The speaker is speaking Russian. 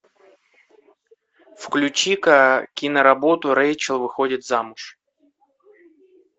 включи ка киноработу рэйчел выходит замуж